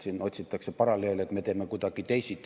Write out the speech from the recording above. Siin otsitakse paralleele, et me teeme kuidagi teisiti.